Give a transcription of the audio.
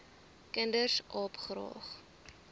kinders aap graag